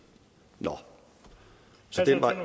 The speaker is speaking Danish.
så den vej